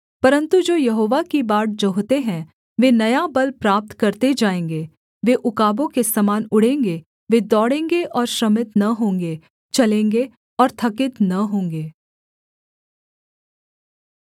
परन्तु जो यहोवा की बाट जोहते हैं वे नया बल प्राप्त करते जाएँगे वे उकाबों के समान उड़ेंगे वे दौड़ेंगे और श्रमित न होंगे चलेंगे और थकित न होंगे